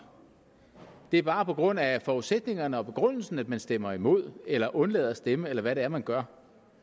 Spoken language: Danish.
det er bare på grund af forudsætningerne og begrundelsen at man stemmer imod eller undlader at stemme eller hvad det er man gør